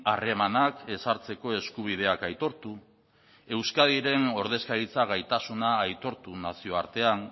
harremanak ezartzeko eskubideak aitortu euskadiren ordezkaritza gaitasuna aitortu nazioartean